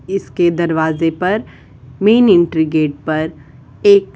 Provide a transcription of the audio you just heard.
इसके दरवाजे पर मेन एंट्री गेट पर एक --